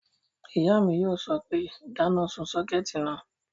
Ìyá mi yóò sọ pé, dáná sun sọ́kẹ̀tì náà!"